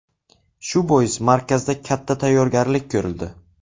Shu bois markazda katta tayyorgarlik ko‘rildi.